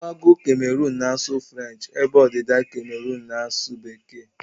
Mgbago Cameroon na asụ frenchi ebe ọdịda Cameroon n'asu bekee